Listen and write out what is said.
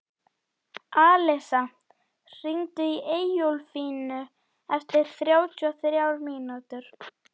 Alisa, hringdu í Eyjólflínu eftir þrjátíu og þrjár mínútur.